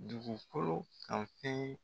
Dugukolo kanfɛn.